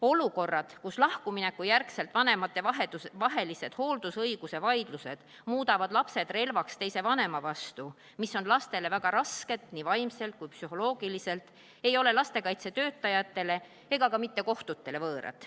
Olukorrad, kus lahkumineku järgselt vanematevahelised hooldusõiguse vaidlused muudavad lapsed relvaks teise vanema vastu, mis on lastele väga rasked nii vaimselt kui ka psühholoogiliselt, ei ole lastekaitsetöötajatele ega ka mitte kohtutele võõrad.